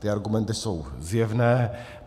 Ty argumenty jsou zjevné.